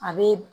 A bɛ